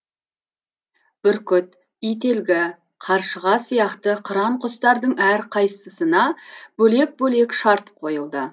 бүркіт ителгі қаршыға сияқты қыран құстардың әрқайсысына бөлек бөлек шарт қойылды